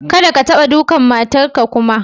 Kadda ka taba ɗukan matan ka kuma.